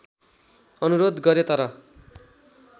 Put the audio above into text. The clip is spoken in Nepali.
अनुरोध गरे तर